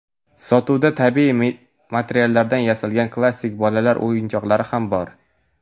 Sotuvda tabiiy materiallardan yasalgan klassik bolalar o‘yinchoqlari ham bor.